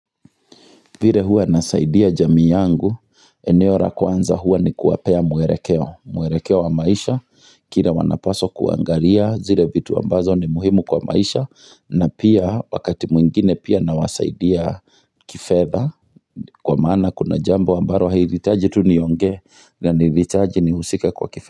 Vile huwa nasaidia jamii yangu, eneo ra kwanza hua ni kuwapea mwerekeo, mwerekeo wa maisha, kira wanapaswa kuangaria, zile vitu ambazo ni muhimu kwa maisha, na pia wakati mwingine pia nawasaidia kifedha, kwa maana kuna jambo ambaro hairitaji tu nionge, na niritaji nihusike kwa kifedha.